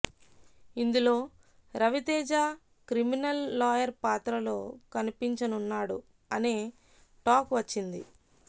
ఇందులో Ravi Teja criminal lawyer పాత్రలో కనిపించనున్నాడు అనే టాక్ వచ్చింది